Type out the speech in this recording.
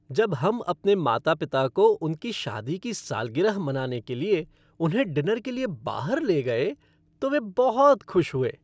जब हम अपने माता पिता को उनकी शादी की सालगिरह मनाने के लिए उन्हें डिनर के लिए बाहर ले गए तो वे बहुत खुश हुए।